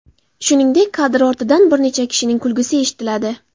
Shuningdek, kadr ortidan bir necha kishining kulgisi eshitiladi.